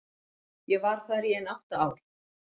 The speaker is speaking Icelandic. Ég var þar í ein átta ár.